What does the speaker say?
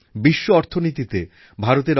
আর তাই দেশের নগরায়নের উপর বিশেষ করে ভরসা করতেন